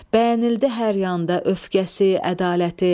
Bəyənildi hər yanda öfkəsi, ədaləti.